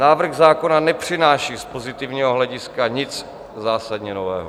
Návrh zákona nepřináší z pozitivního hlediska nic zásadně nového.